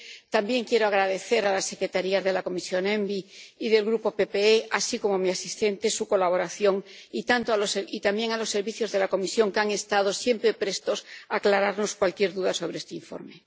También quiero agradecer a las Secretarías de la Comisión ENVI y del Grupo PPE, así como a mi asistente, su colaboración, y también a los servicios de la Comisión, que han estado siempre prestos a aclararnos cualquier duda sobre este informe.